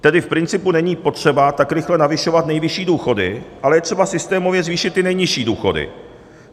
Tedy v principu není potřeba tak rychle navyšovat nejvyšší důchody, ale je třeba systémově zvýšit ty nejnižší důchody.